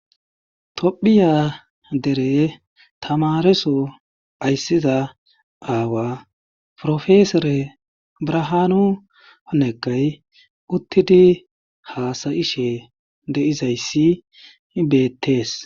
topphiya dere tamareso ayssiza aawa profesore brahaanu honekay uttidi haasayishe deizayssi betees